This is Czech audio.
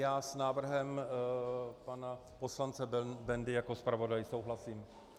Já s návrhem pana poslance Bendy jako zpravodaj souhlasím.